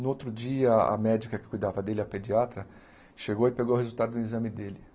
No outro dia, a médica que cuidava dele, a pediatra, chegou e pegou o resultado do exame dele.